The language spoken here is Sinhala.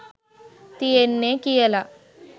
තියෙන්නෙ කියල.